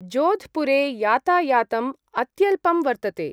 जोध्पुरे यातायातम् अत्यल्पं वर्तते।